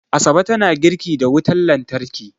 Asabe tana girki da wutar lantarki